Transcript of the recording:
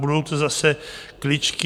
Budou to zase kličky.